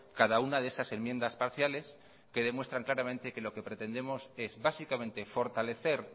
cada una de esas enmiendas parciales que demuestran claramente que lo que pretendemos es básicamente fortalecer